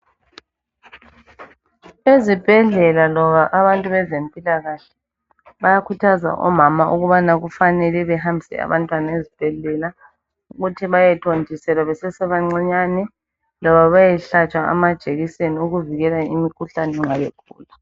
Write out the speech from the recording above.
Ezibhedlela loba abantu bezempilakahle bayakhuthaza omama ukubana kufanele behambise abantwana ezibhedlela ukuthi bayethontiselwa besesebancinyane loba beyehlatshwa amajekiseni okuvikela imikhuhlane nxa begula.